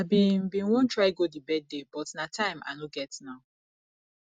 i bin bin wan try go the birthday but na time i no get now